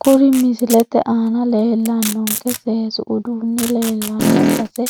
Kuri misilete aana leelanonke seesu uduuni leelanno base